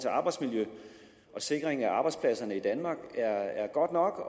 arbejdsmiljø og sikring af arbejdspladserne i danmark er godt nok